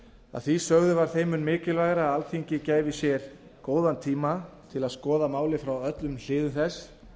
að því sögðu var þeim mun mikilvægara að alþingi gæfi sér góðan tíma til að skoða málið frá öllum hliðum þess